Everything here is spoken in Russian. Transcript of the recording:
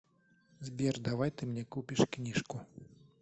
сбер давай ты мне купишь книжку